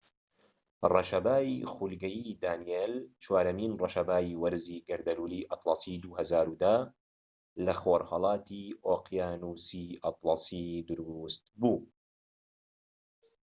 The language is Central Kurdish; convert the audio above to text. ڕەشەبای خولگەیی دانیێل چوارەمین ڕەشەبای وەرزی گەردەلوولی ئەتڵەسی 2010 لە خۆرھەڵاتی ئۆقیانوسی ئەتڵەسی دروست بوو